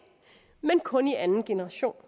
men kun i anden generation